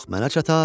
Yox, mənə çatar.